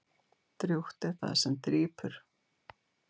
Drjúgt er það sem drýpur.